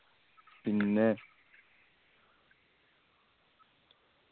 പിന്നെ